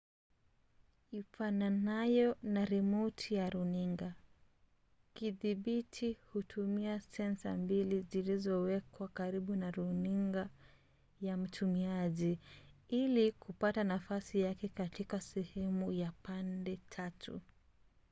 ifananayo na rimoti ya runinga kidhibiti hutumia sensa mbili zilizowekwa karibu na runinga ya mtumiaji ili kupata nafasi yake katika sehemu ya pande tatu